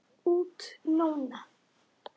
Út núna?